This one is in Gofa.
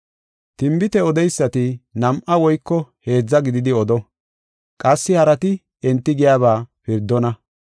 Tinbite odeysati nam7a woyko heedza gididi odo. Qassi harati enti giyaba pirdona.